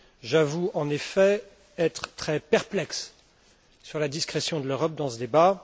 J'avoue, en effet, être très perplexe sur la discrétion de l'Europe dans ce débat.